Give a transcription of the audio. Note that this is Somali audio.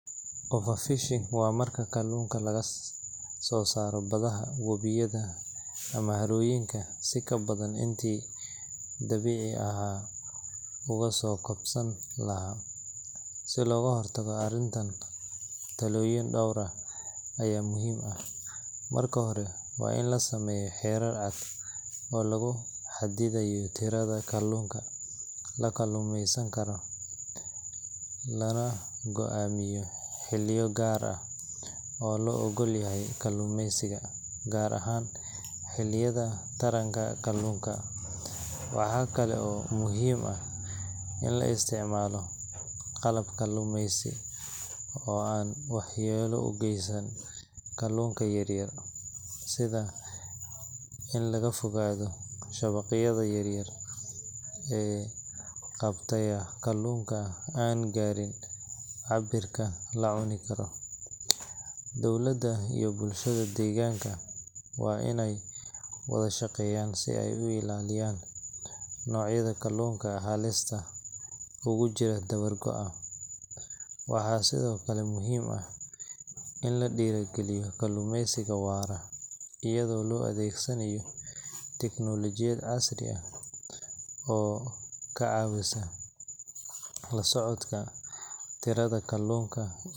Overfishing waa marka kalluunka laga soo saaro badaha, webiyada, ama harooyinka si ka badan intii dabiici ahaan uga soo kabsan lahaa. Si looga hortago arrintan, tallaabooyin dhowr ah ayaa muhiim ah. Marka hore, waa in la sameeyaa xeerar cad oo lagu xadidayo tirada kalluunka la kalluumeysan karo, lana go’aamiyaa xilliyo gaar ah oo loo oggol yahay kalluumaysiga, gaar ahaan xilliyada taranka kalluunka. Waxaa kale oo muhiim ah in la isticmaalo qalab kalluumaysi oo aan waxyeello u geysan kalluunka yar yar, sida in laga fogaado shabaqyada yaryar ee qabta kalluunka aan gaarin cabbirka la cuni karo. Dowladda iyo bulshada deegaanka waa inay wada shaqeeyaan si ay u ilaaliyaan noocyada kalluunka halista ugu jira dabar-go’a. Waxaa sidoo kale muhiim ah in la dhiirrigeliyo kalluumaysiga waara, iyadoo la adeegsanayo tiknoolajiyad casri ah oo ka caawisa la socodka tirada kalluunka, iyo hubinta.